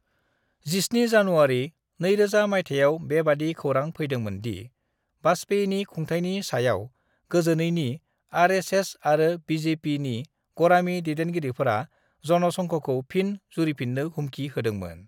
17 जानुवारि 2000 माइथायाव बेबादि खौरां फैदोंमोन दि वाजपेयीनि खुंथायनि सायाव गोजोनैनि आर.एस.एस. आरो बि.जे.पि. नि गरामि दैदिनगिरिफोरा जनसंघखौ फिन जुरिफिन्नो हुमखि होदोंमोन।